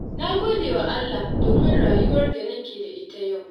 Na gode wa Allah domin rayuwar da nake da ita yau.